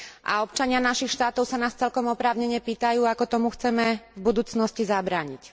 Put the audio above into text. a občania našich štátov sa nás celkom oprávnene pýtajú, ako tomu chceme v budúcnosti zabrániť.